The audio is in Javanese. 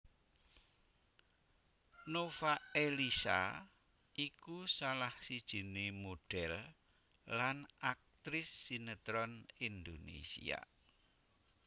Nova Eliza iku salah sijiné modhel lan aktris sinetron Indonesia